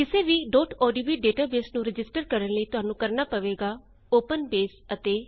ਕਿਸੇ ਵੀ odb database ਨੂੰ ਰਜਿਸਟਰ ਕਰਣ ਲਈ ਤੁਹਾਨੂੰ ਕਰਣਾ ਪਏਗਾ - ਉਪਨ ਬੇਸ ਅਤੇ 1